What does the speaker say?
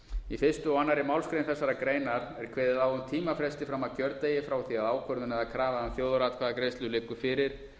í fyrsta og annarri málsgrein þessarar greinar er kveðið á um tímafresti fram að kjördegi frá því að ákvörðun eða krafa um þjóðaratkvæðagreiðslu liggur fyrir